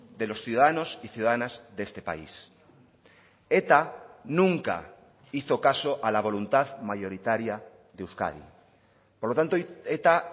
de los ciudadanos y ciudadanas de este país eta nunca hizo caso a la voluntad mayoritaria de euskadi por lo tanto eta